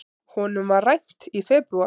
Honum var rænt í febrúar.